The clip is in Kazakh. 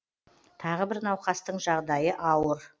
тағы бір науқастың жағдайы ауыр